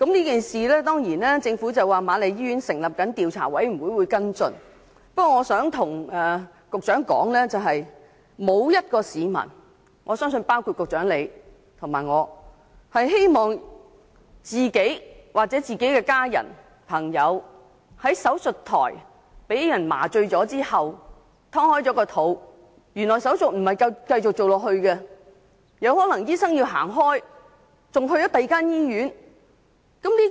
就是次事件，政府表示瑪麗醫院成立了調查委員會跟進。不過，我想告訴局長，沒有一名市民，包括局長和我在內，希望自己、家人或朋友在手術台上被麻醉剖腹後，面對手術不能繼續進行，醫生有可能會離開，甚至去了另一所醫院的情況。